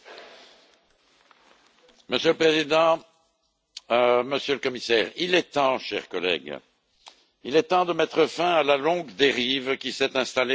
Monsieur le Président, Monsieur le Commissaire, chers collègues, il est temps de mettre fin à la longue dérive qui s'est installée dans le financement du budget de l'Union.